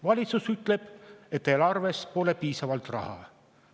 Valitsus ütleb, et eelarves pole piisavalt raha.